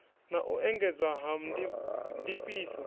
na u engedzwa ha ndifhiso